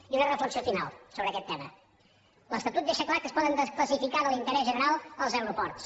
i una reflexió final sobre aquest tema l’estatut deixa clar que es poden desclassificar de l’interès general els aeroports